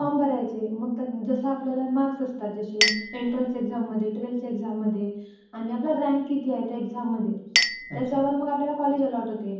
ते फॉर्म्स भरायचे, मग जसं आपल्याला मार्क्स असतात, जसे एन्ट्रन्स एक्साममध्ये, ट्वेल्थच्या एक्साममध्ये आणि आपला रँक किती आहे त्या एक्साममध्ये त्याच्यावर मग आपल्याला कॉलेज एलॉट होते.